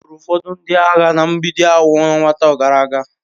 Egburu ụfọdụ ndị agha na Mgbidi awọ ọnwa atọ gara aga.